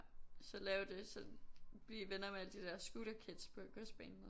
Så lave det så blive venner med alle de der scooterkids på godsbanen